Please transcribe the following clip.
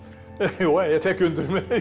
og ég tek undir